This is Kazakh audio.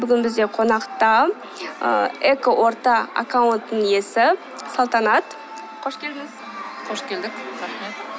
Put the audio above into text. бүгін бізде қонақта ы экоорта аккаунтының иесі салтанат қош келдіңіз қош келдік рахмет